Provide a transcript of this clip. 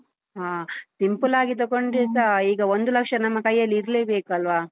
ಹಾ, simple ಆಗಿ ತಗೊಂಡ್ರೆಸ ಈಗ ಒಂದು ಲಕ್ಷ ನಮ್ಮ ಕೈಯಲ್ಲಿ ಇರ್ಲೇಬೇಕಲ್ವಾ?